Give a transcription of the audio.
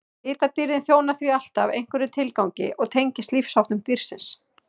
litadýrðin þjónar því alltaf einhverjum tilgangi og tengist lífsháttum dýrsins